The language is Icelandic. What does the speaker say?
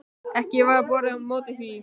Ekki varð borið á móti því.